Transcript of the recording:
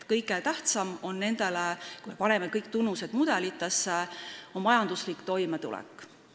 Kui me paneme kõik tunnused mudelitesse, siis näeme, et kõige tähtsam on neile majanduslik toimetulek.